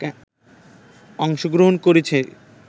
অংশগ্রহণ করেছি